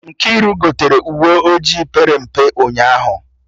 Nkiru gotere uwe ojii pere mpe ụnyaahụ